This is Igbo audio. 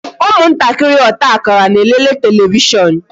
ụmụ ntakịrị ọta akara na-elele televishon